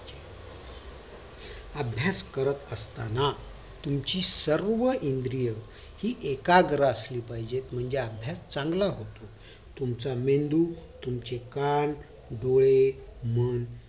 अभ्यास करत असताना तुमची सर्व इंद्रिय हि एकाग्र असली पाहिजेत म्हणजे अभ्यास चांगला होतो तुमचा मेंदू तुमचे कान डोळे मन